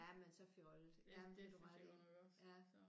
Jamen så fjollet. Jamen det har du ret i